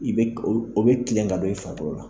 I bɛ o bɛ kile ka don i farikolo la.